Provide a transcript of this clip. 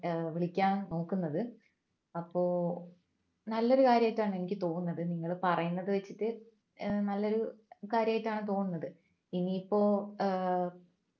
ഏർ വിളിക്കാൻ നോക്കുന്നത് അപ്പോ നല്ലൊരു കാര്യായിട്ടാണ് എനിക്ക് തോന്നുന്നത് നിങ്ങൾ പറയുന്നത് വെച്ചിട്ട് ഏർ നല്ലൊരു കാര്യമായിട്ടാണ് തോന്നുന്നത് ഇനിയിപ്പോ ഏർ